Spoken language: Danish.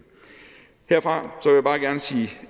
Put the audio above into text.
herfra